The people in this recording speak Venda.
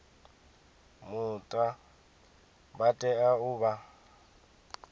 muta vha tea u vha